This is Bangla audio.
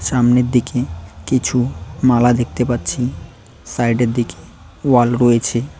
সামনের দিকে কিছু মালা দেখতে পাচ্ছি সাইড -এর দিকে ওয়াল রয়েছে।